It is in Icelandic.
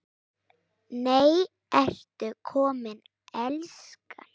NEI, ERTU KOMIN, ELSKAN!